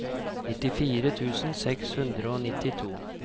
nittifire tusen seks hundre og nittito